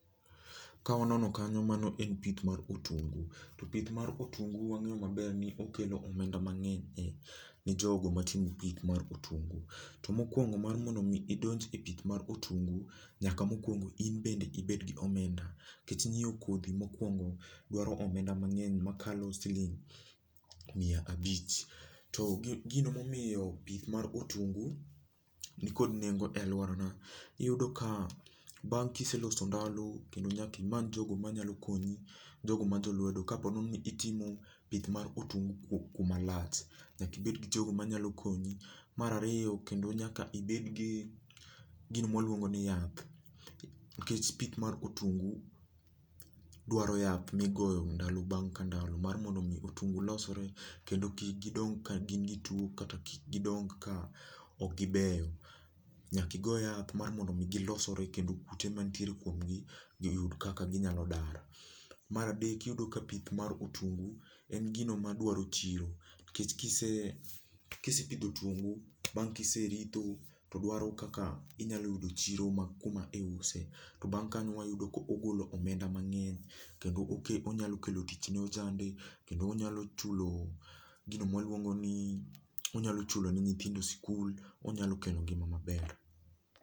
Ka wanono kanyo mano en pith mar otungu to pith mar otungu, to pith mar otungu wang'eyo maber ni okelo omenda mang'eny ne jogo matimo pith mar otungu. To mokuongo mar mondo mi idonjo e pith mar otungu, nyaka mokuongo in bende ibed gi omenda nikech nyiewo kodhi mokuongo dwaro omenda mang'eny makalo siling miya abich. To gino momiyo pith mar otungu nikod nengo e aluora wa bang' ka iseloso ndalo kendo nyaka imany jogo manyalo konyi jogo majo lwedo, kapo nono ni itimo pith mar otungu kuma lach, nyaka ibed gijogo manyalo konyi. Mar ariyo kendo nyaka ibed gi gima waluongo ni yath nikech pith mar otungu dwaro yath migoyo ndalo bang' ka ndalo mar mondo mi otungu olosre kendo kik gidong ka gin gi tuo kata kik gidong ka ok gibeyo nyaka igo yath mar mondo mi gilosre kendo kute mantie kuomgi yud kaka nyalo dar. Mar adek yudo ka pith mar otungu en gino madwaero chiro nikech kise, kisepidho otungu bang' ka iseritho to dwaro kaka inyalo yudo chiro ma kuma iuse. To bang' kanyo wayudo ka ogolo omenda mang'eny kendo oket onyalo kelo tich ne ojande, kendo onyalo chulo gino ma waluongo ni onyalo chulo ne nyithindo e sikul onyalo kelo ngima maber.